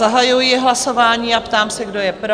Zahajuji hlasování a ptám se, kdo je pro?